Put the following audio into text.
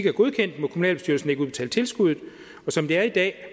er godkendt må kommunalbestyrelsen ikke udbetale tilskuddet og som det er i dag er